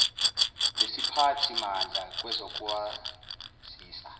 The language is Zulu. lesiphathi mandla kwezokwazisa